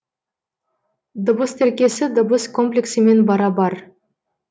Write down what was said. дыбыс тіркесі дыбыс комплексімен бара бар